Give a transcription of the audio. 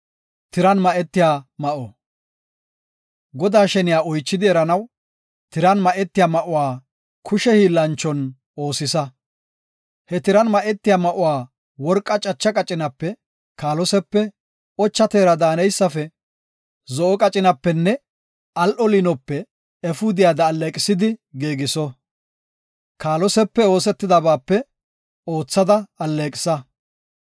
“Godaa sheniya oychidi eranaw, tiran ma7etiya ma7uwa kushe hiillanchon oosisa. He tiran ma7etiya ma7uwa worqa cacha qacinape, kaalosepe, ocha teera daaneysafe, zo7o qacinapenne al7o liinope efuudiyada alleeqisidi giigiso. Kaalosepe oosetidabaape oothada alleeqisa.